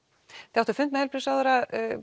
þið áttuð fund með heilbrigðisráðherra